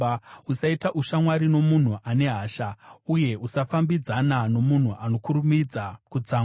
Usaita ushamwari nomunhu ane hasha, uye usafambidzana nomunhu anokurumidza kutsamwa,